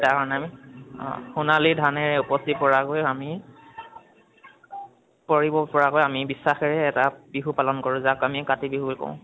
তাৰ কাৰণে অ আমি সোনালি ধানেৰে উপচি পৰাকৈ আমি কৰিব পৰাকৈ আমি বিশ্বাসেৰে এটা বিহু পালন কৰো যাক আমি কাতি বিহু বুলি কও।